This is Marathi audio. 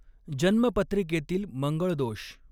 जन्म पत्रिकेतील मंगळ दो़ष.